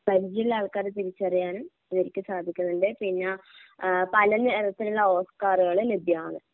പരിചയമുള്ള ആൾക്കാരെ തിരിച്ചറിയാനും ഇവർക്ക് സാധിക്കുന്നുണ്ട് പിന്നെ ഏഹ് പലനിറത്തിലുള്ള ഓസ്കാറുകള് ലഭ്യമാന്ന്.